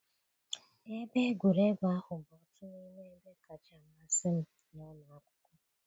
Ebe egwuregwu ahụ bụ otu n'ime ebe kacha amasị m n'ụlọ akwụkwọ